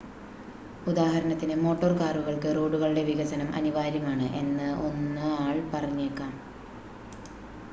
ഉദാഹരണത്തിന് മോട്ടോർ കാറുകൾക്ക് റോഡുകളുടെ വികസനം അനിവാര്യമാണ് എന്ന് 1 ആൾ പറഞ്ഞേക്കാം